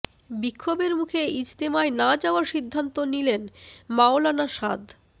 বিক্ষোভের মুখে ইজতেমায় না যাওয়ার সিদ্ধান্ত নিলেন মাওলানা সাদ